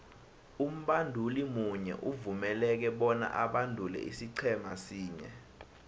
umbanduli munye uvumeleke bona abandule isiqhema sinye